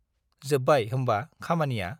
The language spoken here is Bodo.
जोब्बाय होम्बा खामानिया?